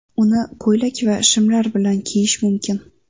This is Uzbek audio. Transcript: Uni ko‘ylak va shimlar bilan kiyish mumkin.